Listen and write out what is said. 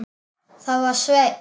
Það var Sveinn.